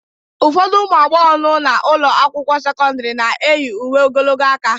Ụfọdụ ụmụ agbọghọ nọ n'ụlọ akwụkwọ sekọndrị na-eyi uwe ogologo aka